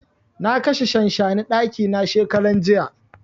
Na kashe shanshani a ɗaki na shekaran jiya.